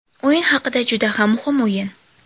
O‘yin haqida Juda ham muhim o‘yin.